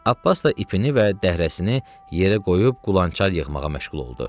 Abbas da ipini və dəhrəsini yerə qoyub qulançar yığmağa məşğul oldu.